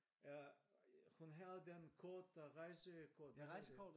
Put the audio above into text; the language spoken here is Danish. Øh hun havde den kort der rejsekort